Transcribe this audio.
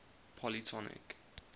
polytonic